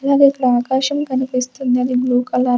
అదే ఇక్కడ ఆకాశం కనిపిస్తుంది అది బ్లూ కలర్ --